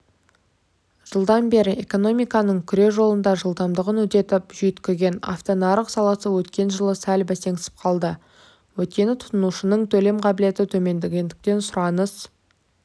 жылдан бері экономиканың күре жолында жылдамдығын үдетіп жүйткіген автонарық саласы өткен жылы сәл бәсеңсіп қалды өйткені тұтынушының төлем қабілеті төмендегендіктен сұраныс